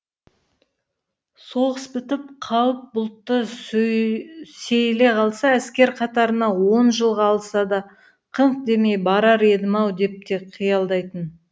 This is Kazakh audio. соғыс бітіп қауіп бұлты сейіле қалса әскер қатарына он жылға алса да қыңқ демей барар едім ау деп те қиялдайтын